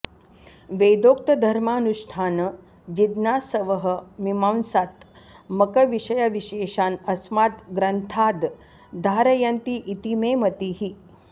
वेदोक्तधर्मानुष्ठानजिज्ञासवः मीमांसात्मकविषयविशेषान् अस्मात् ग्रन्थाद् धारयन्ति इति मे मतिः